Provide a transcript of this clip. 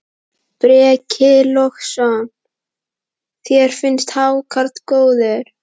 Breki Logason: Þér finnst hákarl góður?